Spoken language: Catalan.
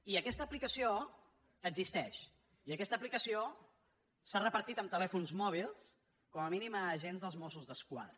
i aquesta aplicació existeix i aquesta aplicació s’ha repartit en telèfons mòbils com a mínim a agents dels mossos d’esquadra